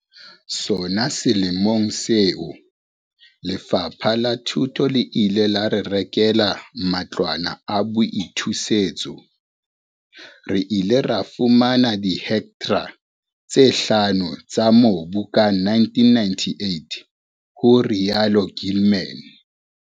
"Sona selemong seo, Lefapha la Thuto le ile la re rekela matlwana a boithusetso. Re ile ra fumana dihektra tse hlano tsa mobu ka 1998," ho rialo Gilman.